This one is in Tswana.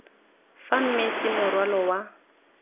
fa mmese wa morwalo wa